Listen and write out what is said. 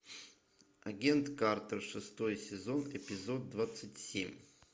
агент картер шестой сезон эпизод двадцать семь